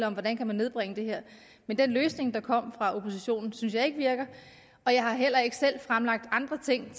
om hvordan kan nedbringes men den løsning der kom fra oppositions side synes jeg ikke virker og jeg har heller ikke selv fremlagt andre ting